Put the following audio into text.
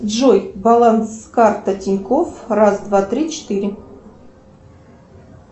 джой баланс карты тинькофф раз два три четыре